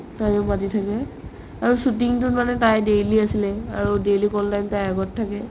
তাইও মাতি থাকে আৰু shooting তো মানে তাই daily আছিলে আৰু daily আগত থাকে ?